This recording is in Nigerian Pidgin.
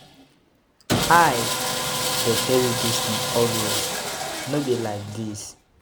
I dey tell you dis thing always, no be like dis.